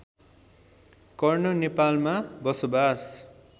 कर्ण नेपालमा बसोबास